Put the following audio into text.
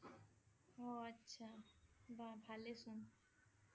অ' আচ্ছা বা ভালে চুন